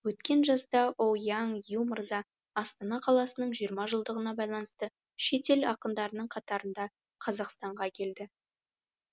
өткен жазда оуяң ю мырза астана қаласының жиырма жылдығына байланысты шет ел ақындарының қатарында қазақстанға келді